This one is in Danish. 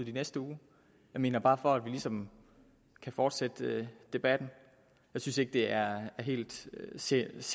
i næste uge jeg mener bare for at vi ligesom kan fortsætte debatten jeg synes ikke det er helt seriøst